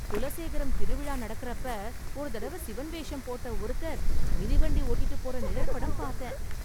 குலசேகரம் திருவிழா நடக்கறப்ப ஒரு தடவை சிவன் வேஷம் போட்ட ஒருத்தர் மிதிவண்டி ஓட்டிட்டுப் போற நிழற்படம் பார்த்தேன்.